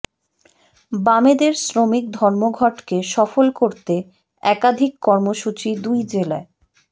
বামেদের শ্রমিক ধর্মঘটকে সফল করতে একাধিক কর্মসূচি দুই জেলায়